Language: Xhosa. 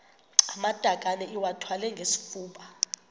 amatakane iwathwale ngesifuba